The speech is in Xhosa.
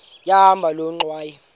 yahamba loo ngxwayi